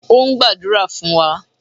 O ń gbadura fun wa.